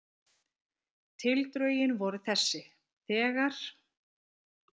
Tildrögin voru þessi: þegar